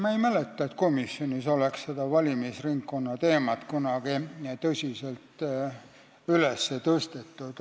Ma ei mäleta, et komisjonis oleks seda valimisringkonna teemat kunagi tõsiselt üles tõstetud.